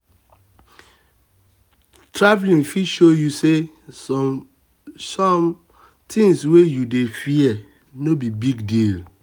travel fit show you say some you say some things wey you dey fear no be big deal.